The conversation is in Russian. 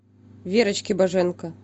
верочке боженко